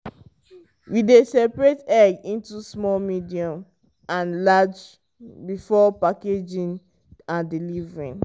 we dey separate egg into small medium and large before packaging and delivery.